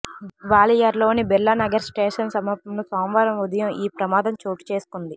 గ్వాలియర్లోని Birlanagar station సమీపంలో సోమవారం ఉదయం ఈ ప్రమాదం చోటుచేసుకుంది